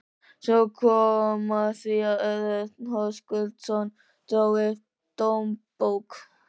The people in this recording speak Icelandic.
Svo kom að því að Örn Höskuldsson dró upp dómsbók